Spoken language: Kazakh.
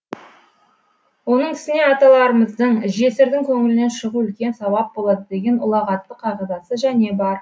оның үстіне аталарымыздың жесірдің көңілінен шығу үлкен сауап болады деген ұлағатты қағидасы және бар